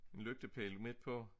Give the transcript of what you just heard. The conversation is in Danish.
En lygtepæl midt på